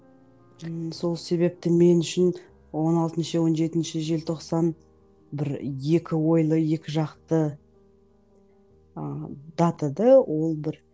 ыыы сол себепті мен үшін он алтыншы он жетінші желтоқсан бір екі ойлы екі жақты ыыы дата да ол бір